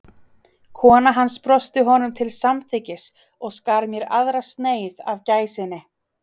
Kona hans brosti honum til samþykkis og skar mér aðra sneið af gæsinni.